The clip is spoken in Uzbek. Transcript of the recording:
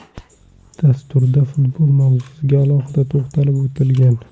Dasturda futbol mavzusiga alohida to‘xtalib o‘tilgan.